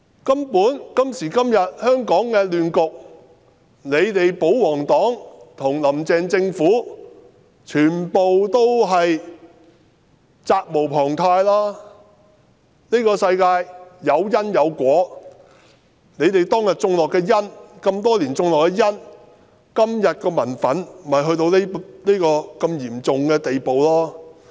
"根本香港今時今日發展至這亂局，保皇黨和"林鄭"政府全部責無旁貸，這個世界有因便有果，他們在這麼多年種下的因，令今天的民憤到了如此嚴重的地步。